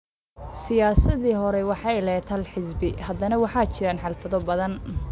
Siyaasaddii hore waxay lahayd hal xisbi. Hadda waxaa jira xaflado badan.